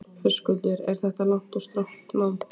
Höskuldur: Er þetta langt og strangt nám?